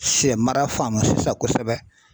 Sɛmara faamu sisan kosɛbɛ.